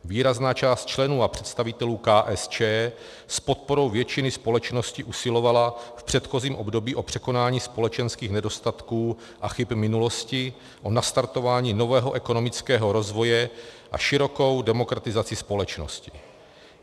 Výrazná část členů a představitelů KSČ s podporou většiny společnosti usilovala v předchozím období o překonání společenských nedostatků a chyb minulosti, o nastartování nového ekonomického rozvoje a širokou demokratizaci společnosti.